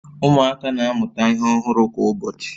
Ụmụaka na-amụta ihe ọhụrụ kwa ụbọchị